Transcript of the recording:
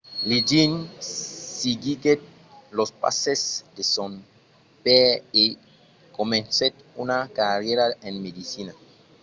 liggins seguiguèt los passes de son paire e comencèt una carrièra en medecina